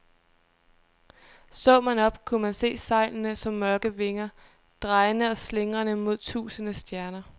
Så man op, kunne man se sejlene som mørke vinger, drejende og slingrende mod tusinde stjerner.